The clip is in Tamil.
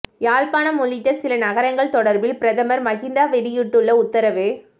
யாழ்ப்பாணம் உள்ளிட்ட சில நகரங்கள் தொடர்பில் பிரதமர் மஹிந்த வெளியிட்டுள்ள உத்தரவு